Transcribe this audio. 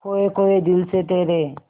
खोए खोए दिल से तेरे